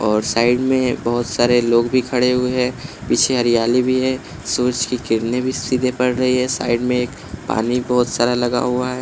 और साइड में बहुत सारे लोग भी खड़े हुए हैं पीछे हरियाली भी है सूरज की किरने भी सीधे पड़ रही है साइड में एक पानी बहोत सारा लगा हुआ है।